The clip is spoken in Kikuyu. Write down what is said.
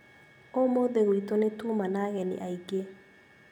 ũmũthĩ gwitũ nĩtuma na ageni aingĩ